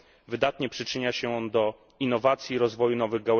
Wydatnie przyczynia się on do innowacji i rozwoju nowych....